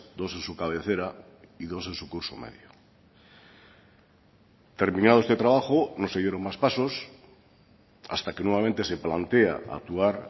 dos en su cabecera y dos en su curso medio terminado este trabajo no se dieron más pasos hasta que nuevamente se plantea actuar